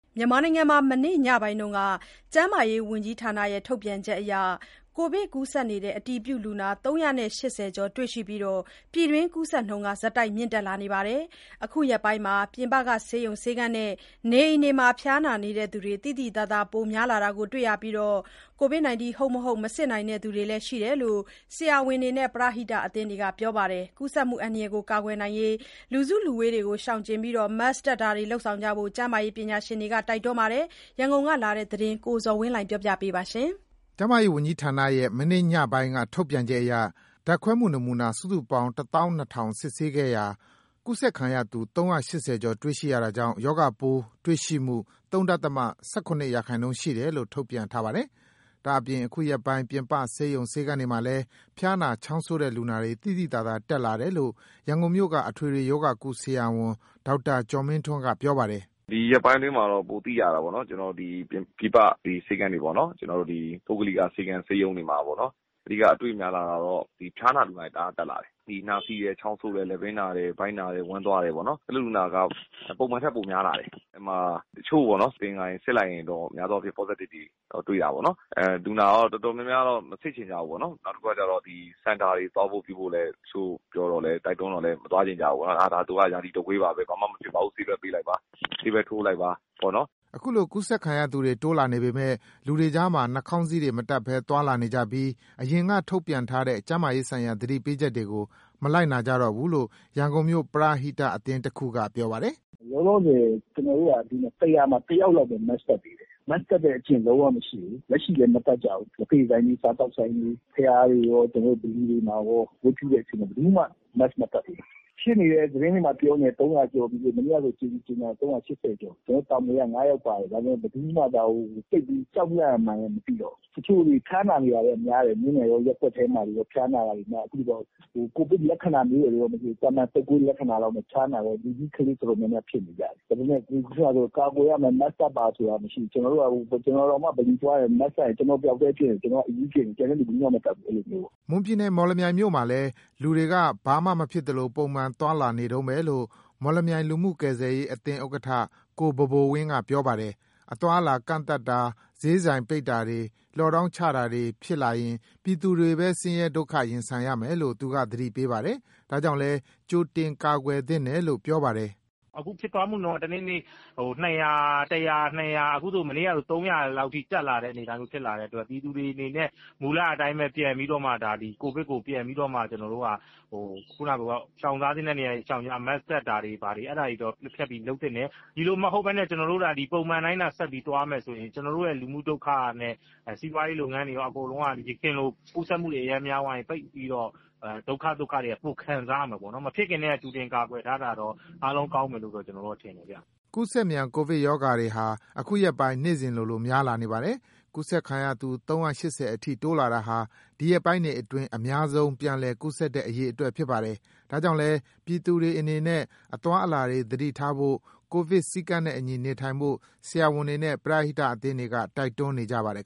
မြန်မာနိုင်ငံမှာ မနေ့ ညပိုင်းက ကျန်းမာရေးဝန်ကြီးဌာနရဲ့ ထုတ်ပြန်ချက်အရ ကိုဗစ် အတည်ပြုလူနာ ၃၈၀ ကျော် တွေ့ရှိပြီး ပြည်တွင်းကူးစက်နှုန်းတွေ ဆက်တိုက် မြင့်တက်လာနေပါတယ်။ အခုရက်ပိုင်း ပြင်ပဆေးရုံ ဆေးခန်းနဲ့ နေအိမ်တွေမှာ ဖျားနာတဲ့သူတွေ သိသိသာသာ ပိုများလာတာတွေ့ရပြီး ကိုဗစ် ဟုတ်၊ မဟုတ် မစစ်နိုင်တဲ့သူလည်း ရှိနေတယ်လို့ ဆရာဝန်တွေနဲ့ ပရဟိတအသင်းတွေက ပြောပါတယ်။ ကူးစက်မှု အန္တရာယ်ကို ကာကွယ်ဖို့ လူစုလူဝေးတွေ ရှောင်ကြဉ်ပြီး Mask တပ်တာတွေ လုပ်ဆောင်ဖို့ ကျန်းမာရေးပညာရှင်တွေ တိုက်တွန်းနေပါတယ်။ ရန်ကုန်ကလာတဲ့ သတင်းကို ကိုဇော်ဝင်းလှိုင်က ပြောပြပါမယ်။ ကျန်းမာရေးဝန်ကြီးဌာနရဲ့ မနေ့ ညပိုင်းက ထုတ်ပြန်ချက်အရ ဓာတ်ခွဲနမူနာ စုစုပေါင်း ၁၂,၀၀၀ စစ်ဆေးခဲ့ရာ ကူးစက်ခံရသူ ၃၈၀ ကျော် တွေ့ရှိရတာကြောင့် ရောဂါပိုး တွေ့ရှိမှု ၃.၁၇ ရာခိုင်နှုန်း ရှိတယ်လို့ ထုတ်ပြန်ထားပါတယ်။ ဒါ့အပြင် အခုရက်ပိုင်း ပြင်ပဆေးရုံ ဆေးခန်းတွေမှာလည်း ဖျားနာ ချောင်းဆိုးတဲ့ လူနာတွေ သိသိသာသာ တက်လာတယ်လို့ ရန်ကုန်မြို့က အထွေထွေရောဂါကု ဆရာဝန် ဒေါက်တာကျော်မင်းထွန်းက ပြောပါတယ်။ “ဒီရက်ပိုင်းအတွင်းမှာတော့ ပိုသိရတာပေါ့နော်။ ကျနော်တို့ ဒီပြင်ပဆေးခန်းတွေပေါ့နော်။ ကျနော်တို့ ပုဂ္ဂလိကဆေးခန်း ဆေးရုံတွေမှာပေါ့နော်။ အဓိကအတွေ့လာတာတော့ ဒီဖျားနာလူနာတွေ တအားတက်လာတယ်။ နှာစေးတယ်၊ ချောင်းဆိုးတယ်၊ လည်ပင်းနာတယ်၊ ဗိုက်နာတယ်၊ ဝမ်းသွားတယ်ပေါ့နော်။ အဲ့လိုလူနာက ပုံမှန်ထက်ပိုများလာတယ်။ အဲ့မှာ တချို့ပေါ့ မသင်္ကာရင် စစ်လိုက်ရင်တော့ များသောအားဖြင့် Positive တွေ တွေ့ရတယ်ပေါေ့နာ်။ လူနာရော တော်တော်များများတော့ မစစ်ချင်ကြဘူးပေါ့နော်။ နောက်တခုကကျတော့ Center တွေ သွားဖို့ပြုဖို့လည်း တချို့ပြောတော့လည်း တိုက်တွန်းတော့လည်း မသွားချင်ကြဘူးပေါ့နော။် ဒါသူက ရာသီတုပ်ကွေးပါ၊ ဘာမှမဖြစ်ပါဘူး၊ ဆေးပဲပေးလိုက်ပါ၊ ဆေးပဲထိုးလိုက်ပါပေါ့နော်။” အခုလို ကိုဗစ်ကူးစက်ခံရသူတွေ တိုးလာနေပေမယ့် လူတွေကြားမှာ နှာခေါင်းစည်းတွေ မတတ်ဘဲ သွားလာနေကြပြီး အရင် ထုတ်ပြန်ထားတဲ့ ကျန်းမာရေးဆိုင်ရာ သတိပေးချက်တွေကို မလိုက်နာကြတော့ဘူးလို့ ရန်ကုန်မြို့က ပရဟိအသင်းတခုကလည်း ပြောပါတယ်။ “လောလောဆယ် ကျနော်တို့က ၁၀၀ မှာ ၁ယောက်လောက်ပဲ Mask တပ်သေးတယ်။ Mask တပ်တဲ့ အကြည့်လုံးဝမရှိဘူး။ လက်ရှိလည်း မတပ်ကြဘူး။ လက်ဖက်ရည်ဆိုင်တွေ စားသောက်ဆိုင်တွေ ဘုရားတွေရော ကျနော်တို့ ဗလီတွေမှာရော ဝတ်ပြုတဲ့အချိန်မှာ ဘယ်သူမှ Mask မတပ်ဘူး။ ဖြစ်နေတယ်၊ သတင်းထဲမှာ ပြောနေတယ် ၃၀၀ ကျော်ပြီးလို့ မနေ့ကဆို ၃၈၀ ကျော် ကျနော်တို့ တာမွေက ၅ယောက်ပါတယ်။ ဒါပေမဲ့ ဘယ်သူမှ ဒါကို သိပ်ပြီး ကြောက်လန့်ရမှန်းလည်း မသိတော့ဘူး။ တချို့ဆို ဖျားနေတာလည်း များတယ်။ မြို့နယ်ရော ရပ်ကွက်ထဲမှာတွေရော ဖျားနာတာတွေနဲ့ အခုတော့ ကိုဗစ်လက္ခဏာမျိုးတွေရော မသိ... သာမာန်တုပ်ကွေးလက္ခဏာလောက်နဲ့ ဖျားနာတဲ့ လူကြီး ကလေးတော်တော်များများဖြစ်နေကြတယ်။ ဒါပေမဲ့ ကာကွယ်ရမယ် Mask တပ်ပါဆိုတာမရှိဘူး။ ကျနော်တောင်မှ ဗလီသွားတယ်။ Mask တပ်ရင် ကျနော်တစ်ယောက်ထဲဖြစ်နေတယ် ကျနော်က အရူးဖြစ်နေတယ်။ ကျန်တဲ့လူ ဘယ်သူမှမတပ်ဘူး အဲ့ဒီလိုမျိုးပေါ့။” မွန်ပြည်နယ် မော်လမြိုင်မြို့မှာလည်း လူတွေက ဘာမှမဖြစ်သလို ပုံမှန်သွားလာနေတုန်းပဲလို့ မော်လမြိုင် လူမှုကယ်ဆယ်ရေးအသင်း ဥက္ကဋ္ဌ ကိုဘိုဘိုဝင်းက ပြောပါတယ်။ အသွားအလာကန့်သတ်တာ ဈေးဆိုင်ပိတ်တာတွေ လော့ဒေါင်းချခံရတာတွေဖြစ်လာရင် ပြည်သူတွေ့ပဲ ဆင်းရဲဒုက္ခတွေ ရင်ဆိုင်ရမယ်လို့ သတိပေးပါတယ်။ ဒါကြောင့်လည်း ကြိုတင်ကာ့ွယ်သင့်တယ်လို့ ပြောပါတယ်။ "အခု ဖြစ်ပွားမှုနှုန်းက တနေ့တနေ့ ၂၀၀၊ ၁၀၀၊ ၂၀၀ အခုဆို မနေ့ကဆို ၃၀၀ လောက်ထိတက်လာတဲ့ အနေအထားမျိုးဖြစ်လာတဲ့အတွက် ပြည်သူတွေအနေနဲ့ မူလအတိုင်းပဲ ပြန်ပြီးတော့မှ ဒါသည် ကိုဗစ်ကို ပြန်ပြီးတော့မှ ရှောင်ထားသင့်တဲ့နေရာတွေ ရှောင်ကြ Mask တပ်တာတွေ ဘာတွေ အဲ့ဒါတွေတော့ လုပ်သင့်တယ်။ ဒီလိုမဟုတ်ဘဲနဲ့ ကျနော်တို့သာသည် ပုံမှန်သာ ဆက်ပြီးသွားမယ်ဆိုရင် ကျနော်တို့ရဲ့ လူမှုဒုက္ခနဲ့ စီးပွားရေးလုပ်ငန်းတွေရော အကုန်လုံးက ယခင်လို ကူးစက်မှုတွေ အရမ်းများသွားရင် ပိတ်ပြီးတော့ဒုက္ခသုက္ခတွေက ပိုခံစားရမှာပေါ့နော်၊ မဖြစ်ခင်းထဲက ကြိုတင်ကာကွယ်ထားတာတော့ အားလုံးကောင်းမယ်လို့ ကျနော်တော့ ထင်တယ်ဗျ။" ကူးစက်မြန် ကိုဗစ်ရောဂါပိုးတွေဟာ အခုရက်ပိုင်း နေ့စဉ်လိုလို များလာနေပါတယ်။ ကူးစက်ခံရသူ ၃၈၀ အထိ တိုးလာတာဟာ ဒီရက်ပိုင်းတွေအတွင်း အများဆုံး ပြန်လည်ကူးစက်တဲ့ အရေအတွက် ဖြစ်ပါတယ်။ ဒါကြောင့်လည်း ပြည်သူတွေအနေနဲ့ အသွားအလာတွေ သတိထားဖို့ ကိုဗစ်စည်းကမ်းနဲ့အညီ နေထိုင်ဖို့ ဆရာဝန်တွေနဲ့ ပရဟိတအသင်းတွေက တိုက်တွန်းနေကြပါတယ်